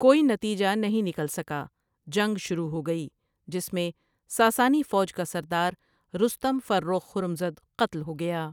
کوئی نتیجہ نہیں نکل سکا جنگ شروع ہوگئی جس میں ساسانی فوج کا سرداررستم فرخ ہرمزد قتل ہو گیا ۔